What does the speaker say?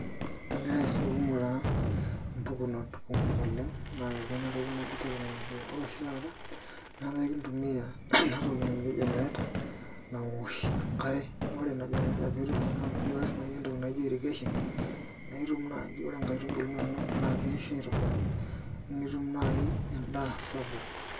Olee ekumok mpukunot kumok oleng' naayaua ena toki naji teknolojia ore oshi taata naa kakintumia ena toki naji generator nawosh enkare ore ena generator naa iaas naai entoki naa ijo irrigation naa itum naaji ore nkaitubulu inonok naa keisho aitobiraki neeku naai endaa sapuk.